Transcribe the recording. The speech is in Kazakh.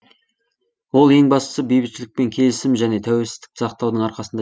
ол ең бастысы бейбітшілік пен келісім және тәуелсіздікті сақтаудың арқасында